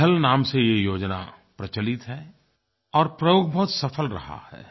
पहल नाम से ये योजना प्रचलित है और प्रयोग बहुत सफल रहा है